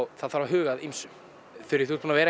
það þarf að huga að ýmsu þú ert búin að vera